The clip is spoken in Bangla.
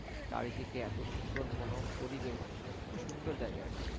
চারদিকে এমন মনোরম পরিবেশ. খুব সুন্দর জায়গা এটা